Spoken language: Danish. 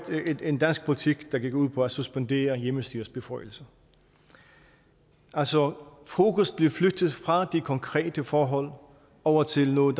en dansk politik der gik ud på at suspendere hjemmestyrets beføjelser altså fokus blev flyttet fra de konkrete forhold over til noget